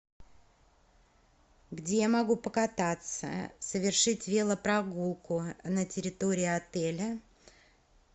где я могу покататься совершить велопрогулку на территории отеля